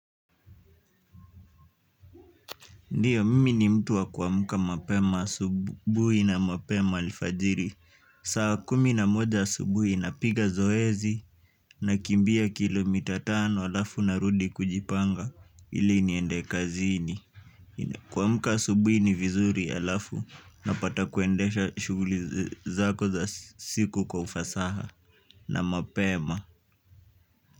Ndiyo, mimi ni mtu wa kuamka mapema asubuhi na mapema alfajiri. Saa kumi na moja asubuhi napiga zoezi nakimbia kilomita tatu, halafu narudi kujipanga ili niende kazini. Kuamka asubuhi ni vizuri, halafu napata kuendesha shughuli zako za siku kwa ufasaha na mapema.